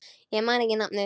Ég man ekki nafnið.